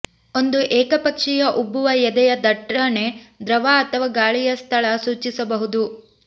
ಒಂದು ಏಕಪಕ್ಷೀಯ ಉಬ್ಬುವ ಎದೆಯ ದಟ್ಟಣೆ ದ್ರವ ಅಥವಾ ಗಾಳಿಯ ಸ್ಥಳ ಸೂಚಿಸಬಹುದು